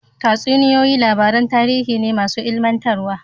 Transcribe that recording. Tatsuniyoyi labaran tarihi ne masu ilmantarwa